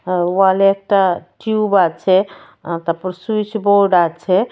আ ওয়ালে একটা টিউব আছে আ তারপর সুইচ বোর্ড আছে.